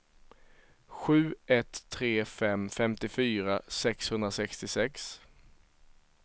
sju ett tre fem femtiofyra sexhundrasextiosex